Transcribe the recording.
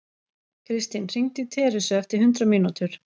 Kristinn, hringdu í Teresu eftir hundrað mínútur.